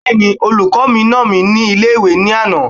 Bẹ́ẹ̀ni, olùkọ́ mi nà mí ní ilé-ìwé ní àná